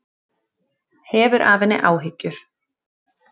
Hefur af henni áhyggjur.